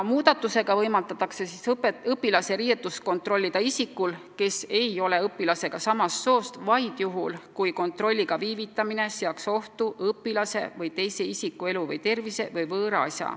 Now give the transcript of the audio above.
Muudatusega võimaldatakse õpilase riideid kontrollida isikul, kes ei ole õpilasega samast soost, vaid juhul, kui kontrolliga viivitamine seaks ohtu õpilase või teise isiku elu või tervise või võõra asja.